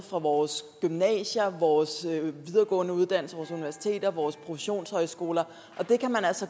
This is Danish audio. fra vores gymnasier vores videregående uddannelser vores universiteter vores professionshøjskoler